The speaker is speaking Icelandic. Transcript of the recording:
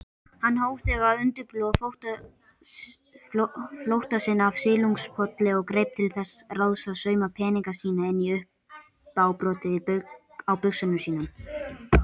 Hann hóf þegar að undirbúa flótta sinn af Silungapolli og greip til þess ráðs að sauma peninga sína inn í uppábrotið á buxunum sínum.